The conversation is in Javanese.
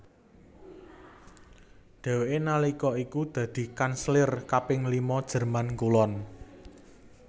Dhèwèké nalika iku dadi kanselir kaping lima Jerman Kulon